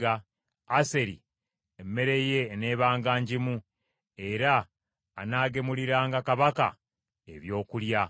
Aseri emmere ye eneebanga ngimu, era anaagemuliranga kabaka ebyokulya.